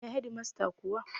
Ina Hedimasta kuwa?